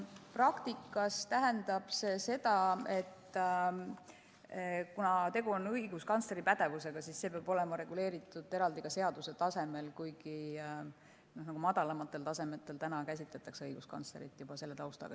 Praktikas tähendab see seda, et kuna tegu on õiguskantsleri pädevusega, siis see peab olema reguleeritud eraldi ka seaduse tasemel, kuigi madalamatel tasemetel juba käsitletakse õiguskantslerit sellise taustaga isikuna.